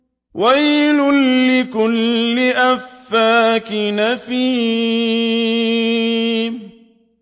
وَيْلٌ لِّكُلِّ أَفَّاكٍ أَثِيمٍ